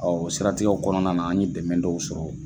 siratigɛw kɔnɔna na an ɲe dɛmɛ dɔw sɔrɔ.